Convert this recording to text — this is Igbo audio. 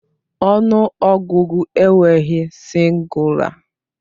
Ọnụ ọgụgụ enweghị sịngụla